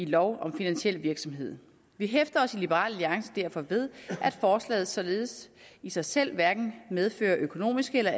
lov om finansiel virksomhed vi hæfter os i liberal alliance derfor ved at forslaget således i sig selv hverken medfører økonomiske eller